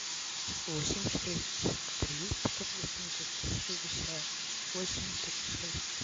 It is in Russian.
восемь четыреста сорок три пятьсот восемьдесят шестьдесят восемь три шесть